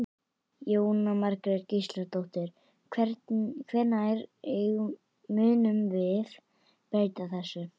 Jóhann Margrét Gísladóttir: Hvenær munið þið breyta þessu?